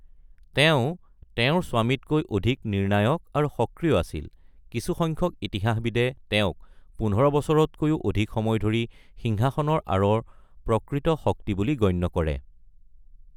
তেওঁ তেওঁৰ স্বামীতকৈ অধিক নিৰ্ণায়ক আৰু সক্ৰিয় আছিল, কিছু সংখ্যক ইতিহাসবিদে তেওঁক পোন্ধৰ বছৰতকৈও অধিক সময় ধৰি সিংহাসনৰ আঁৰৰ প্ৰকৃত শক্তি বুলি গণ্য কৰে।